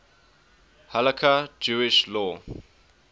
halakha jewish law